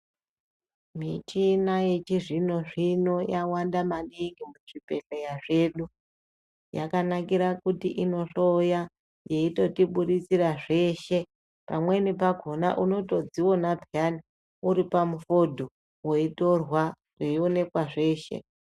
Michina yechizvino zvino yawanda maningi muzvibhedhleya zvedu. Yakanakira kuti inohloya yeitotiburisira zveshe. Pamweni pakhona unotodziona peyaa uri pamufodho weitorwa weionekwa zveshe.